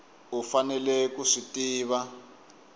u faneleke ku swi tiva